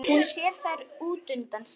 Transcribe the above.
Hún sér þær útundan sér.